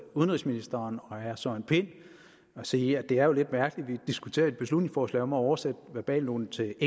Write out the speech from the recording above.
udenrigsministeren og herre søren pind og sige at det jo er lidt mærkeligt at vi diskuterer et beslutningsforslag om at oversætte verbalnoten til